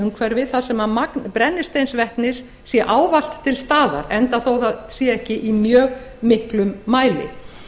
umhverfi þar sem magn brennisteinsvetnis sé ávallt til staðar enda þótt það sé ekki í mjög miklum mæli